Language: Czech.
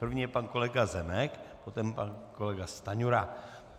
První je pan kolega Zemek, potom pan kolega Stanjura.